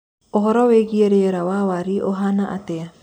uhoro wĩĩgĩe rĩera wa waĩrĩ uhana atia